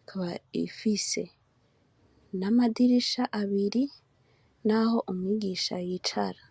ikaba ifise namadirisha abiri naho umwigisha yicara